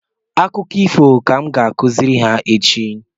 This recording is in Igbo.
Akụkọ ifo ka m ga-akụziri ha echi